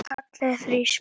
Hann kallaði þrisvar.